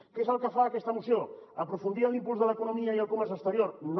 què és el que fa aquesta moció aprofundir en l’impuls de l’economia i el comerç exterior no